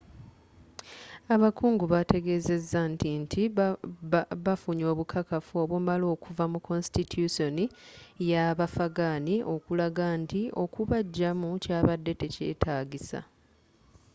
abakugu bateegezeza nti nti bafunye obukakafu obumala okuva mu konsitityusooni yabafaghan okulaga nti okubajjamu kyabadde tekyetaagisa